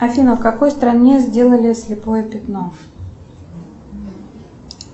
афина в какой стране сделали слепое пятно